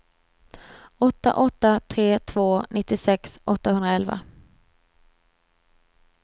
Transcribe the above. åtta åtta tre två nittiosex åttahundraelva